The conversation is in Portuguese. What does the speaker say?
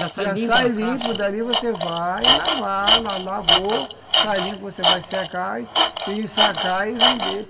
Já sai limpo da caixa, já sai limpo, dali você vai lavar, la lavou, sai limpo, você vai secar e ensacar e vender.